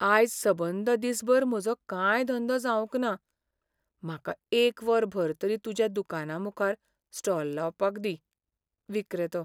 आयज सबंद दीसभर म्हजो कांय धंदो जावंक ना , म्हाका एक वरभर तरी तुज्या दुकाना मुखार स्टॉल लावपाक दी. विक्रेतो